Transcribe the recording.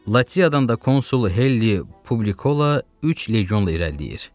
Latiyadan da konsul Heli Publikola üç legionla irəliləyir.